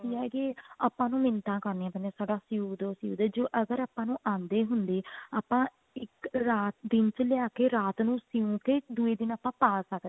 ਨਹੀਂ ਹੈਗੇ ਆਪਾਂ ਨੂੰ ਮਿੰਨਤਾ ਕਰਨੀਆਂ ਪੈਂਦੀਆਂ ਸਾਡਾ ਸਿਉ ਦੋ ਸਿਉ ਦੋ ਅਗਰ ਆਪਾਂ ਨੂੰ ਆਂਦੇ ਹੁੰਦੇ ਆਪਾਂ ਇੱਕ ਰਾਤ ਦਿਨ ਚ ਲਿਆਕੇ ਰਾਤ ਨੂੰ ਸਿਮਕੇ ਦੂਏ ਦਿਨ ਆਪਾਂ ਪਾ ਸਕਦੇ